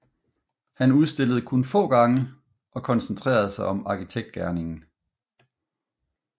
Han udstillede kun få gange og koncentrerede sig om arkitektgerningen